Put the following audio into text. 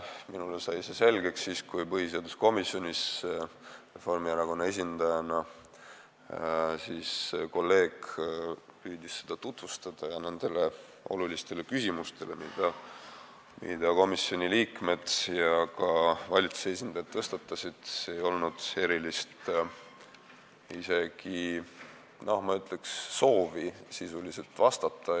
Minule sai see selgeks siis, kui põhiseaduskomisjonis püüdis kolleeg Reformierakonna esindajana seda tutvustada ja nendele olulistele küsimustele, mida komisjoni liikmed ja ka valitsuse esindajad tõstatasid, ei olnud isegi erilist soovi sisuliselt vastata.